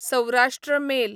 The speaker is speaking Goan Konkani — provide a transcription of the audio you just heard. सौराश्ट्र मेल